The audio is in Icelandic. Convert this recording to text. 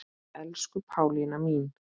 Elsku Pálína mín.